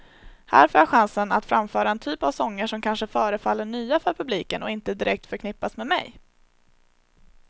Här får jag chansen att framföra en typ av sånger som kanske förefaller nya för publiken och inte direkt förknippas med mig.